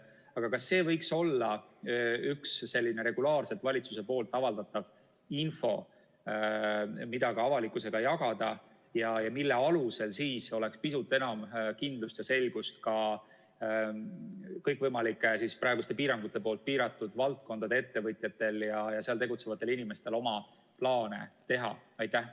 Aga kas see võiks olla üks selline regulaarselt valitsuse avaldatav info, mida ka avalikkusega jagada ja mille alusel oleks pisut enam kindlust ja selgust ka kõikvõimalike praeguste piirangutega piiratud valdkondade ettevõtjatel ja seal tegutsevatel inimestel, et oma plaane teha?